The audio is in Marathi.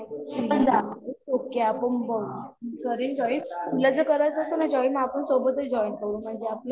इट्स ओके आपण बोलू यात करेन जॉईन, तुला जर करायचं असेल ना जॉईन आपण सोबतच जॉइन करू म्हणजे आपलं